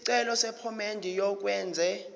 isicelo sephomedi yokwenze